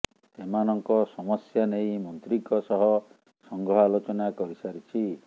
ସେମାନଙ୍କ ସମସ୍ୟା ନେଇ ମନ୍ତ୍ରୀଙ୍କ ସହ ସଂଘ ଆଲୋଚନା କରି ସାରିଛି